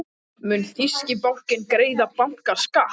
Mun þýski bankinn greiða bankaskatt?